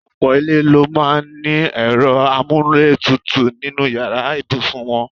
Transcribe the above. Ọ̀pò̩ ilé ló máa ní e̩ro̩ amúlétutù nínú yàrá ìbùsùn wo̩n.